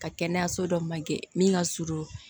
Ka kɛnɛyaso dɔ man ge min ka surun